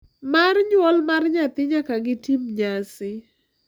mar nyuol mar nyathi nyaka gitim nyasi.